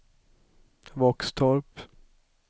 Våxtorp